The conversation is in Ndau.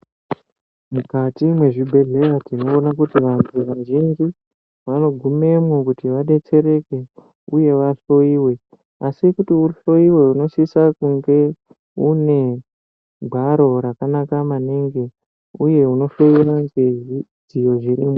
Mukati mezvibhedhlera tinoona kuti vantu vazhinji vavakugumamo kuti vadetsereke uye vahloiwe asi kuti uhloiwe unosisa kunge une gwaro rakanaka maningu uye unofanira kuzvidzivirira.